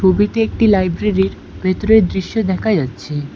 ছবিতে একটি লাইব্রেরির ভেতরের দৃশ্য দেখা যাচ্ছে।